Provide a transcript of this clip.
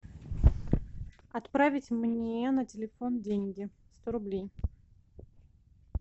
отправить мне на телефон деньги сто рублей